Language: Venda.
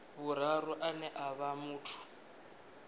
vhuraru ane a vha muthu